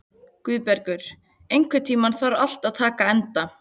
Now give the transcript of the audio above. Guðbergur, einhvern tímann þarf allt að taka enda.